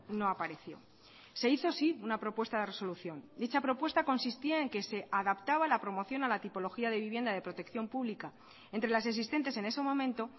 no apareció se hizo sí una propuesta de resolución dicha propuesta consistía en que se adaptaba la promoción a la tipología de vivienda de protección pública entre las existentes en ese momento